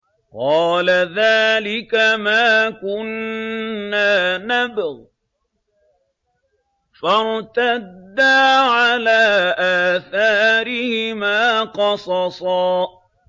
قَالَ ذَٰلِكَ مَا كُنَّا نَبْغِ ۚ فَارْتَدَّا عَلَىٰ آثَارِهِمَا قَصَصًا